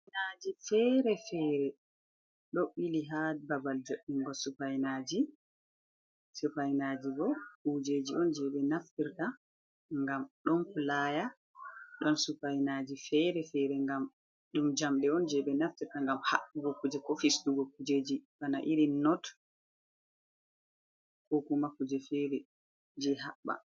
Supaynaaji feere-feere do ɓili haa babal jo''ingo supaynaaji. Supaynaaji bo kujeji on jey ɓe naftirta, ngam ɗon pulaaya, ɗon supaynaaji feere-feere, ngam ɗum jamɗe on, jey ɓe naftirta ngam haɓɓugo kuje, ko fistugo kujeji, bana iri not, ko kuma kuje feere jey haɓɓa.